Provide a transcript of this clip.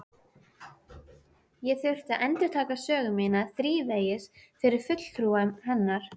Ég þurfti að endurtaka sögu mína þrívegis fyrir fulltrúum hennar.